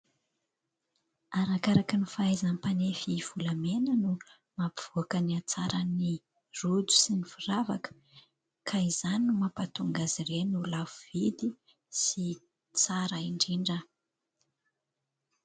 Arakaraka ny fahaizan'ny mpanefy volamena no mampivoaka ny hatsaran'ny rojo sy ny firavaka. Ka izany no mampatonga azy ireny ho lafo vidy sy tsara indrindra.